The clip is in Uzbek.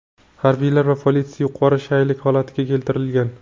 harbiylar va politsiya yuqori shaylik holatiga keltirilgan.